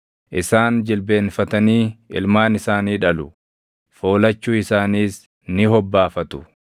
Isaan jilbeenfatanii ilmaan isaanii dhalu; foolachuu isaaniis ni hobbaafatu.